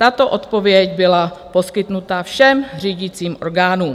Tato odpověď byla poskytnuta všem řídícím orgánům.